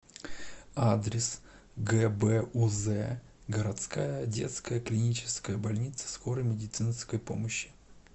адрес гбуз городская детская клиническая больница скорой медицинской помощи